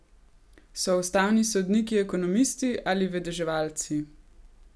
So ustavni sodniki ekonomisti ali vedeževalci?